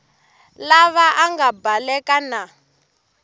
lava a nga baleka na